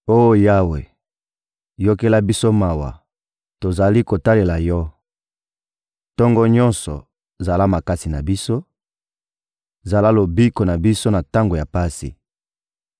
Oh Yawe, yokela biso mawa, tozali kotalela Yo! Tongo nyonso, zala makasi na biso, zala lobiko na biso na tango ya pasi!